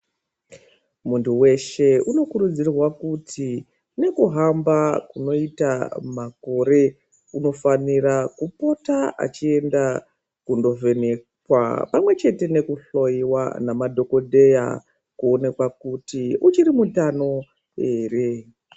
Muntu weshe unokurudzirwa kuti nekuhamba kunoita makore unofanira kupota achienda kundovhenekwa pamwechete nekuhloiwa namadhokodheya kuonekwa kuti uchiri mutano here.